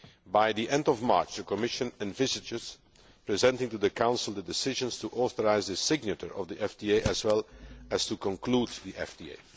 By the end of March, the Commission envisages presenting to the Council the decisions to authorise the signature of the FTA as well as to conclude the FTA.